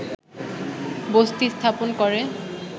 বসতি স্থাপন করে